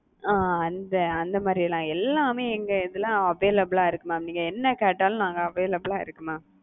அ அந்த அந்த மாரிலாம் எல்லாமே எங்களதுல available ஆ இருக்கு mam நீங்க என்ன கேட்டாலும் நாங்க available ஆ இருக்கு mam.